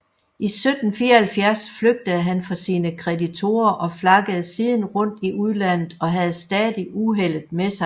I 1774 flygtede han for sine kreditorer og flakkede siden rundt i udlandet og havde stadig uheldet med sig